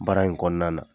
Baara in kɔnɔna na